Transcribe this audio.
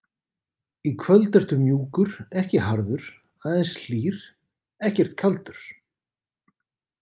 Í kvöld ertu mjúkur, ekki harður, aðeins hlýr, ekkert kaldur.